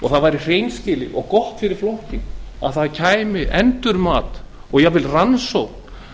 það væri hreinskilið og gott fyrir flokkinn ef fram færi endurmat og jafnvel rannsókn